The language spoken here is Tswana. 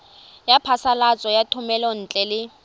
ya phasalatso ya thomelontle le